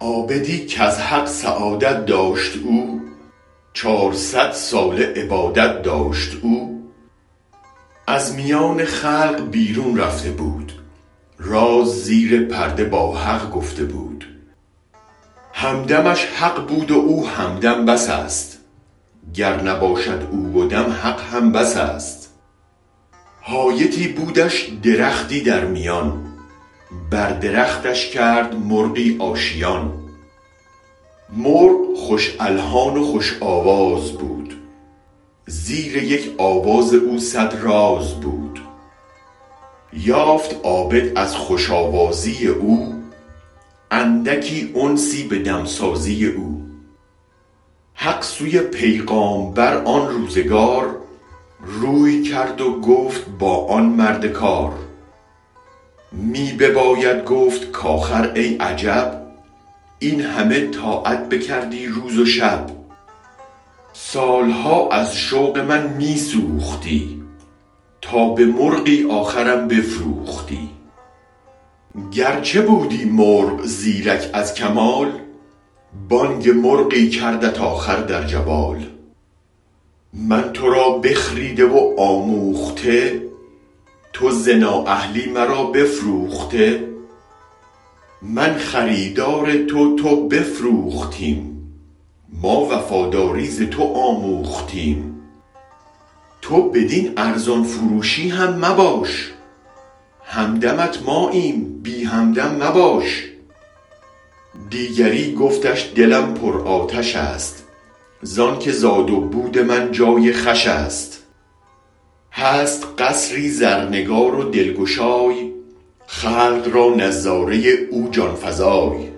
عابدی کز حق سعادت داشت او چار صد ساله عبادت داشت او از میان خلق بیرون رفته بود راز زیر پرده با حق گفته بود هم دمش حق بود و او همدم بس است گر نباشد او و دم حق هم بس است حایطی بودش درختی در میان بر درختش کرد مرغی آشیان مرغ خوش الحان و خوش آواز بود زیر یک آواز او صد راز بود یافت عابد از خوش آوازی او اندکی انسی بدمسازی او حق سوی پیغامبر آن روزگار روی کرد و گفت با آن مرد کار می بباید گفت کاخر ای عجب این همه طاعت بکردی روز و شب سالها از شوق من می سوختی تا به مرغی آخرم بفروختی گرچه بودی مرغ زیرک از کمال بانگ مرغی کردت آخر در جوال من ترا بخریده و آموخته تو ز نااهلی مرا بفروخته من خریدار تو تو بفروختیم ما وفاداری ز تو آموختیم تو بدین ارزان فروشی هم مباش هم دمت ماییم بی هم دم مباش دیگری گفتش دلم پر آتش است زانک زاد و بود من جای خوش است هست قصری زرنگار و دلگشای خلق را نظاره او جان فزای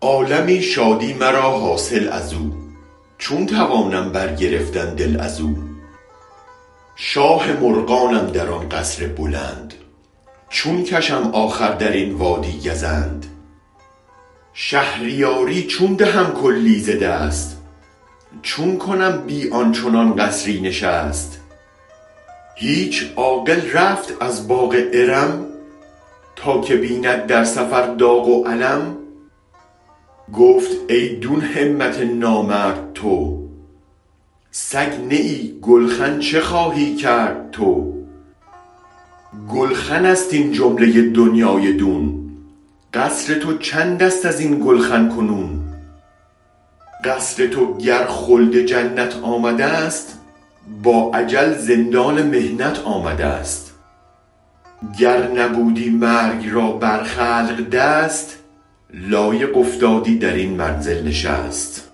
عالمی شادی مرا حاصل ازو چون توانم برگرفتن دل ازو شاه مرغانم در آن قصر بلند چون کشم آخر درین وادی گزند شهریاری چون دهم کلی ز دست چون کنم بی آن چنان قصری نشست هیچ عاقل رفت از باغ ارم تا که بیند در سفر داغ و الم گفت ای دون همت نامرد تو سگ نه ای گلخن چه خواهی کرد تو گلخنست این جمله دنیای دون قصر تو چندست ازین گلخن کنون قصر تو گر خلد جنت آمدست با اجل زندان محنت آمدست گر نبودی مرگ را بر خلق دست لایق افتادی درین منزل نشست